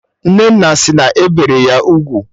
Nnenna sị na e bere ya ugwu